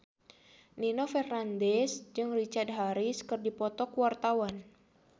Nino Fernandez jeung Richard Harris keur dipoto ku wartawan